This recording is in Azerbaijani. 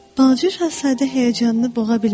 Balaca Şahzadə həyəcanını boğa bilmədi.